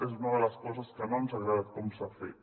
és una de les coses que no ens ha agradat com s’ha fet